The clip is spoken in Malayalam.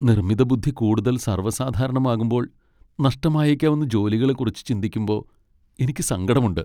നിർമ്മിതബുദ്ധി കൂടുതൽ സർവസാധാരണമാകുമ്പോൾ നഷ്ടമായേക്കാവുന്ന ജോലികളെക്കുറിച്ച് ചിന്തിക്കുമ്പോ എനിക്ക് സങ്കടമുണ്ട്.